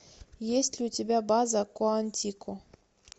есть ли у тебя база куантико